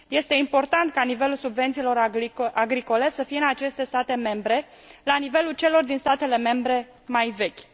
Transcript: Este important ca nivelul subvențiilor agricole să fie în aceste state membre la nivelul celor din statele membre mai vechi.